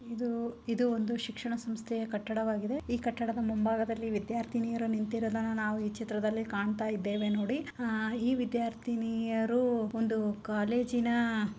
ಇದು ಒಂದು ಶಿಕ್ಷಣ ಸಂಸ್ಥೆಯ ಕಟ್ಟಡವಾಗಿದೆ ಈ ಕಟ್ಟಡದ ಮುಂಭಾಗದಲ್ಲಿ ವಿದ್ಯಾರ್ಥಿನಿಯರು ನಿಂತಿರೋದನ್ನ ನಾವು ಈ ಚಿತ್ರದಲ್ಲಿ ಕಾಣ್ತಾ ಇದ್ದೇವೆ ನೋಡಿ ಆಹ್ ಈ ವಿದ್ಯಾರ್ಥಿನಿಯರು ಒಂದು ಕಾಲೇಜಿನ--